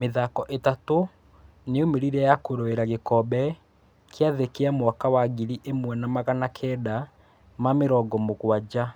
Mĩthako ĩtatũ nĩ yaumĩrire ya kũroĩrera gĩkombe kĩa thĩ kĩa mwaka wa ngiri ĩmwe wa magana kenda ma mĩrongo mũguanja.